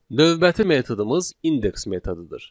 Növbəti metodumuz indeks metodudur.